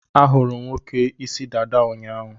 A hụrụ m nwoke ịsị dada ụnyaahụ